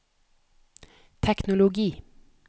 teknologi